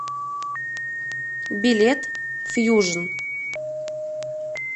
билет фьюжн